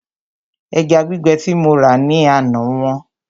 Ẹja gbígbẹ tí mo rà ní àná wọ́n